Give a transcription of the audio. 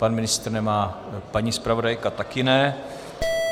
Pan ministr nemá, paní zpravodajka také ne.